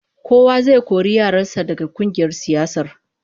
Kowa zai kori yaran sa daga kungiyar siyasar